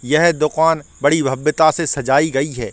यह दुकान बड़ी भव्यता से सजाई गई है।